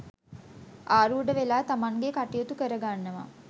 ඇරූඪ වෙලා තමන්ගේ කටයුතු කර ගන්නවා.